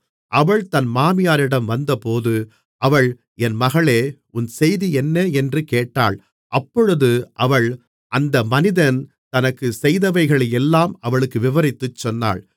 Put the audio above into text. அவள் தன் மாமியாரிடம் வந்தபோது அவள் என் மகளே உன் செய்தி என்ன என்று கேட்டாள் அப்பொழுது அவள் அந்த மனிதன் தனக்குச் செய்தவைகளையெல்லாம் அவளுக்கு விவரித்துச் சொன்னாள்